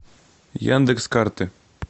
яндекс карты